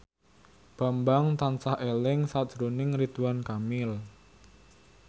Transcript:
Bambang tansah eling sakjroning Ridwan Kamil